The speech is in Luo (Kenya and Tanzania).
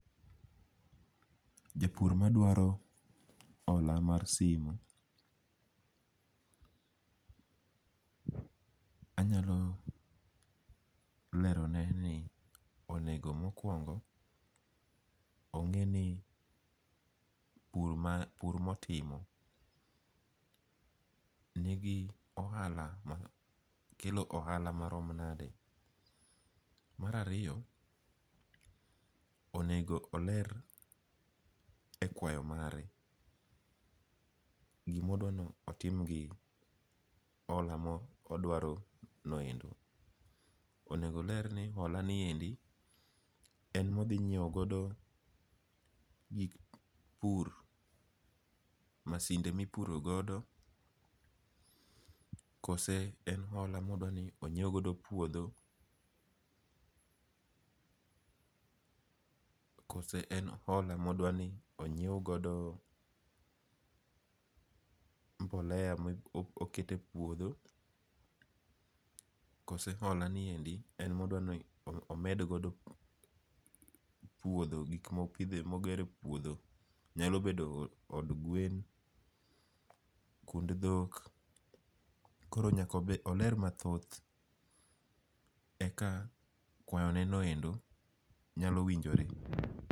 Japur maduaro hola mar simu, anyalo lerone ni onego mokungo' onge' ni pur ma pur motimo nigi ohala ma kelo ohala marom nade. Marariyo onego eler e kwayo mare gima odwanotim gi hola ma odwaronoendo, onego oler ni holaniendi en mothinyiewogodo gik pur masinde mipuro godo kose e hola ma odwa ni onyiew godo puotho, koso en hola ma odwani onyiew godo mbolea ma okete e puotho, koso holaniendi en mwadwani omed godo puotho gik ma pithoe mogero e puotho? nyalo bedo od gwen kund thok koro nyakoler mathoth eka kwayonenoendo nyalo winjore.